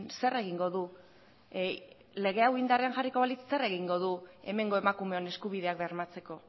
zer egingo du lege hau indarrean jarriko balitz zer egin du hemengo emakumeon eskubideak bermatzeko